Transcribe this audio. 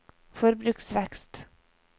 forbruksvekst